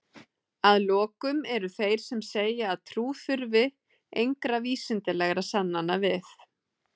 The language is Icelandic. Að lokum eru þeir sem segja að trú þurfi engra vísindalegra sannana við.